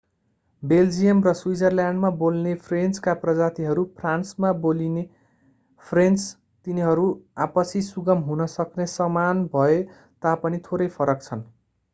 Belgium र स्विजरल्याण्डमा बोल्ने फ्रेन्चका प्रजातिहरू फ्रान्समा बोल्ने फ्रेन्च तिनीहरू आपसी सुगम हुन सक्ने समान भए तापनि थोरै फरक छन्